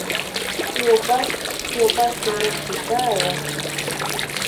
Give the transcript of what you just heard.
ti o ba ti o ba ti mu siga rẹ